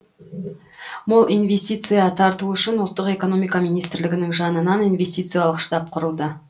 мол инвестиция тарту үшін ұлттық экономика министрлігінің жанынан инвестициялық штаб құрылды